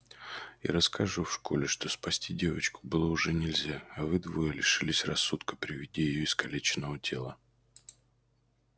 и расскажу в школе что спасти девочку было уже нельзя а вы двое лишились рассудка при виде её искалеченного тела